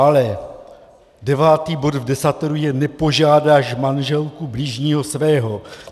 Ale devátý bod v Desateru je "nepožádáš manželku bližního svého".